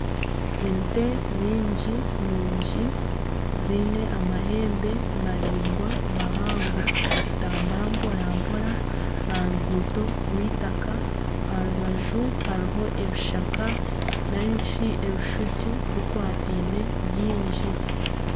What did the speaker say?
Ente nyingi nungi ziine amahembe maraingwa mahango nizitambura mporampora aharuguuto rw'eitaka aharubaju hariho ebishaka narishi ebishugi bikwataine bingi .